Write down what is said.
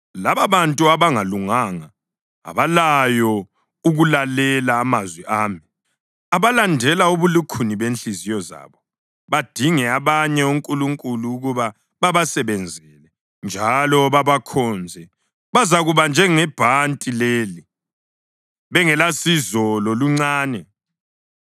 Lababantu abangalunganga, abalayo ukulalela amazwi ami, abalandela ubulukhuni bezinhliziyo zabo badinge abanye onkulunkulu ukuba babasebenzele njalo babakhonze, bazakuba njengebhanti leli, bengelasizo loluncane!